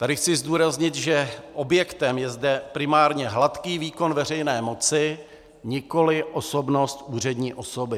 Tady chci zdůraznit, že objektem je zde primárně hladký výkon veřejné moci, nikoliv osobnost úřední osoby.